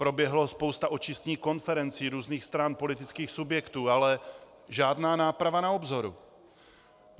Proběhla spousta očistných konferencí různých stran, politických subjektů, ale žádná náprava na obzoru!